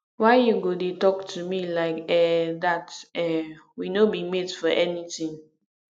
why you go dey talk to me like um dat um we no be mate for anything